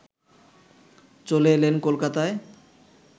চলে এলেন কলকাতায়